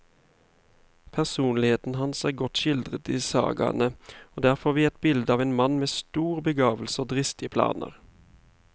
Personligheten hans er godt skildret i sagaene, og der får vi et bilde av en mann med stor begavelse og dristige planer.